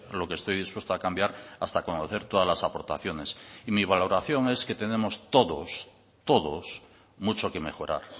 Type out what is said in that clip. lo que estoy dispuesto a cambiar hasta conocer todas las aportaciones y mi valoración es que tenemos todos todos mucho que mejorar